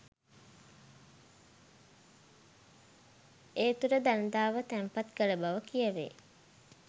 ඒ තුළ දළදාව තැන්පත් කළ බව කියැවේ